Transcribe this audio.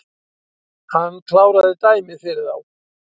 Hann kláraði dæmið fyrir þá